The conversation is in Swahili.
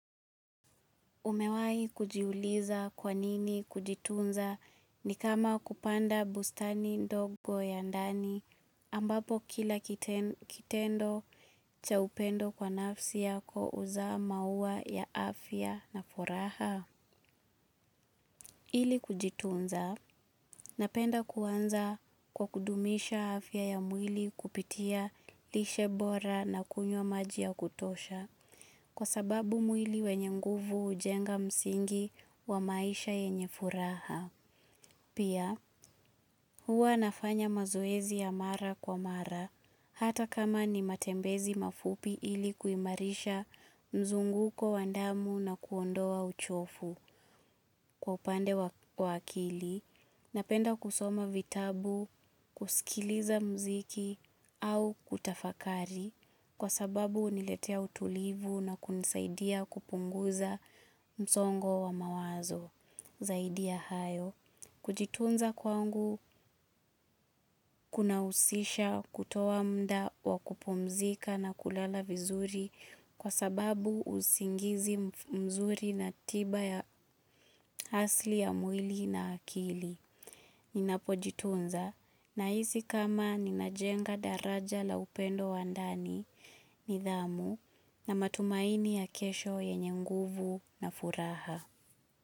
Umewai kujiuliza kwanini kujitunza ni kama kupanda bustani ndogo ya ndani ambapo kila kitendo cha upendo kwa nafsi yako uza maua ya afya na furaha. Ili kujitunza, napenda kuanza kwa kudumisha afya ya mwili kupitia lishebora na kunywa maji ya kutosha, kwa sababu mwili wenye nguvu ujenga msingi wa maisha yenye furaha. Pia, huwa nafanya mazoezi ya mara kwa mara, hata kama ni matembezi mafupi ili kuimarisha mzunguko wandamu na kuondoa uchofu kwa upande wa akili, napenda kusoma vitabu, kusikiliza mziki au kutafakari kwa sababu uniletea utulivu na kunisaidia kupunguza msongo wa mawazo. Zaidi ya hayo, kujitunza kwangu kuna usisha kutoa mda wa kupumzika na kulala vizuri kwa sababu usingizi mzuri na tiba ya hasli ya mwili na akili. Ninapo jitunza na hisi kama ninajenga daraja la upendo wandani ni dhamu na matumaini ya kesho ya nyenguvu na furaha.